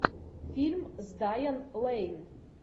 фильм с дайан лэйн